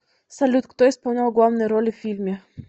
салют кто исполнял главные роли в фильме